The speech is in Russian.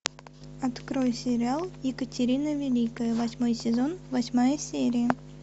открой сериал екатерина великая восьмой сезон восьмая серия